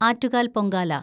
Attukal‍ Pongala